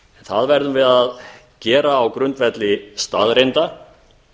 það verðum við að gera á grundvelli staðreynda